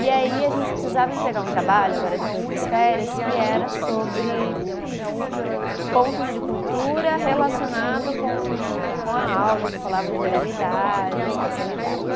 E aí a gente precisava entregar um trabalho, agora depois das férias, que era sobre pontos de cultura relacionado com com a aula que falava de oralidade, espacialidade.